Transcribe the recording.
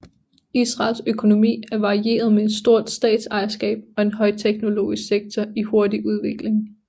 Israels økonomi er varieret med et stort statsejerskab og en højteknologisk sektor i hurtig udvikling